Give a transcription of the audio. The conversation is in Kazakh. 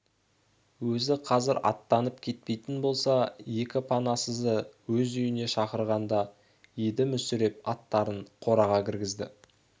өзі қазір аттанып кетпейтін болса екі панасызды өз үйіне шақырғандай еді мүсіреп аттарын қораға кіргізді